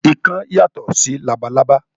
Ikán yàtọ̀ sí labalábá